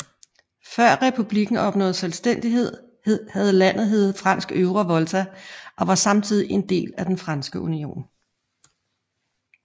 Før republikken opnåede selvstændighed havde landet heddet Fransk Øvre Volta og var samtidig del af Den Franske Union